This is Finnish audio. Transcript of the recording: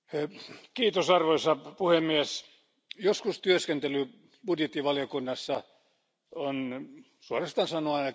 Arvoisa puhemies, joskus työskentely budjettivaliokunnassa on suoraan sanoen aika tylsää.